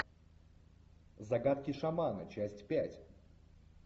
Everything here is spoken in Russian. загадки шамана часть пять